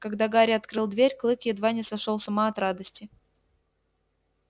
когда гарри открыл дверь клык едва не сошёл с ума от радости